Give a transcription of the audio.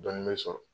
Dɔɔnin be sɔrɔ